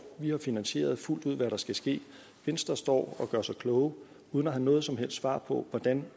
vi har finansieret fuldt ud hvad der skal ske venstre står og gør sig klog uden at have noget som helst svar på hvordan